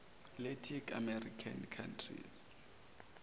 latin american countries